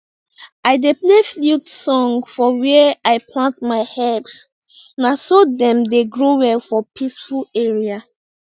i dey play flute song for where i plant my herbs na so dem dey grow well for peaceful area